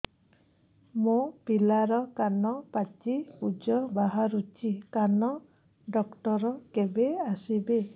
ମୋ ପିଲାର କାନ ପାଚି ପୂଜ ବାହାରୁଚି କାନ ଡକ୍ଟର କେବେ ଆସିବେ